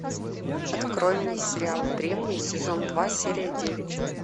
открой мне сериал древние сезон два серия девять